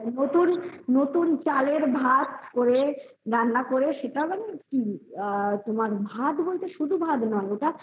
হ্যা নতুন চালের ভাত বলে রান্না করে সেটা তোমার ভাত বলতে শুধু ভাত নয়